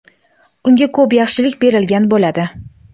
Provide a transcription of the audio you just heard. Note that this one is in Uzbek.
unga ko‘p yaxshilik berilgan bo‘ladi.